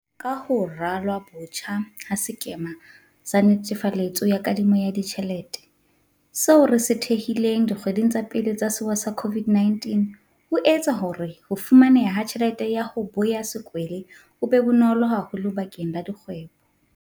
Ka ho ralwa botjha ha sekema sa netefaletso ya kadimo ya ditjhelete, seo re se thehileng dikgweding tsa pele tsa sewa sa COVID-19, ho etsa hore ho fumaneha ha tjhelete ya 'ho boya sekwele' ho be bonolo haholo bakeng la dikgwebo.